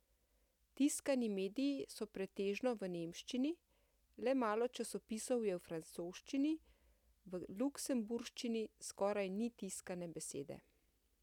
Tiskani mediji so pretežno v nemščini, le malo časopisov je v francoščini, v luksemburščini skoraj ni tiskane besede.